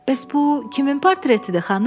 Bəs bu kimin portretidir, xanım?